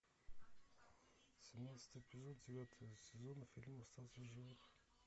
семнадцатый эпизод девятого сезона фильм остаться в живых